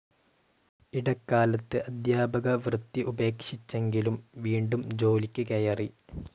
ഇടക്കാലത്ത് അധ്യാപക വൃത്തി ഉപേക്ഷിച്ചെങ്കിലും, വീണ്ടും ജോലിക്ക് കയറി.